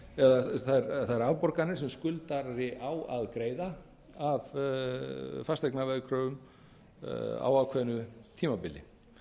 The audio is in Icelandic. eða þær afborganir sem skuldari á að greiða af fasteignaveðkröfum á ákveðnu tímabili